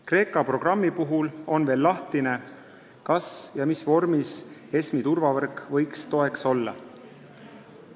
Kreeka programmi puhul on veel lahtine, mis vormis ESM-i turvavõrk võiks toeks olla.